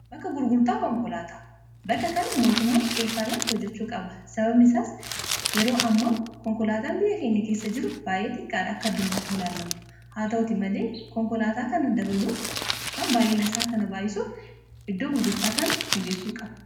Bakka gurgurtaa konkolaataa. Bakka kana mootummaan xiyyeefaanaatiin hojjachuu qaba. Sababni isaas yeroo hammaa konkolaataan biyya keenya keessa jiru baay'ee xiqqaadha. Akka addunyaatti yoo laallamu. Haa ta'utii malee konkolaataa kana dabaluuf yookaan baay'ina isaa kana baay'isuuf iddoo gurgurtaa kana mijeessuu qaba.